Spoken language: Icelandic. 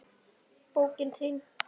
Bókin þín,